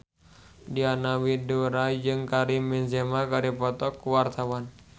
Diana Widoera jeung Karim Benzema keur dipoto ku wartawan